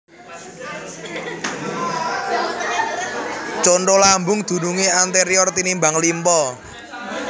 Conto Lambung dunungé anterior tinimbang limpa